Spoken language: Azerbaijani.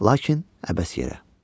Lakin əbəs yerə.